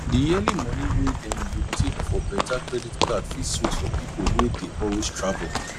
di yearly money wey dem dey take for better credit card fit sweet for people wey dey always travel